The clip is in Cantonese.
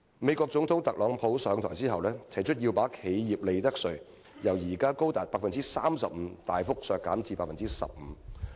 美國總統特朗普上台後，提出要把企業利得稅由現時高達 35% 大幅削減至 15%。